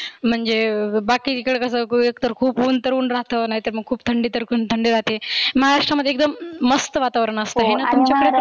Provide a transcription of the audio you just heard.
म्हणजे बाकी कडे कसं एक तर खुप उन तर उन राहत नाहितर खुप थंडी तर थंडी राहते. महाराष्ट्रामध्ये एकदम मस्त वातावरण राहतं. आणि तुमच्या